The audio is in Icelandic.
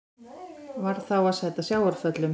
Varð þá að sæta sjávarföllum.